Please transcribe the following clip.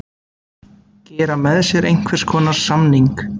Gera með sér einhvers konar samning.